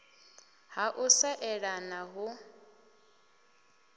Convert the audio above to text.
ha u sa eḓana hu